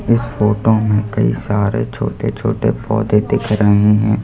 इस फोटो में कई सारे छोटे छोटे पौधे दिख रहे हैं।